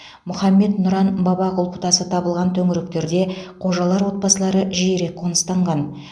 мұхаммед нұран баба құлпытасы табылған төңіректерде қожалар отбасылары жиірек қоныстанған